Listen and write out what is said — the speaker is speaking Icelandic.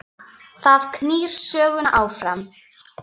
Það knýr söguna áfram